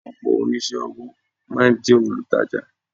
Ọ̀pọ̀ oníṣẹ́-ọwọ́ máa ń jẹ́ olutaja.